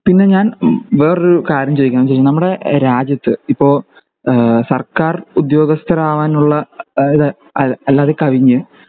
പിന്നെ ഞാൻ വേറൊരു കാര്യം ചോയ്ക്കാൻവെച്ചെങ്കി നമ്മുടെ രാജ്യത്ത് ഇപ്പൊ ഈഹ് സർക്കാർ ഉദ്യോഗസ്ഥരാവാനുള്ള കഴിഞ്ഞു